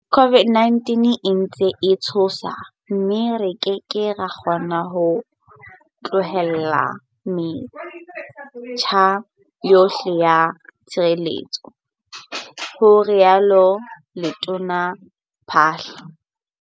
COVID-19 e ntse e tshosa mme re ke ke ra kgona ho tlohella metjha yohle ya tshireletso, ho rialo letona Phaahla.